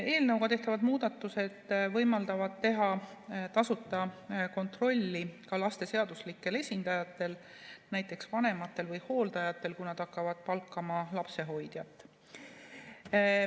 Eelnõuga tehtavad muudatused võimaldavad teha tasuta kontrolli ka laste seaduslikel esindajatel, näiteks vanematel või hooldajatel, kui nad hakkavad palkama lapsehoidjat.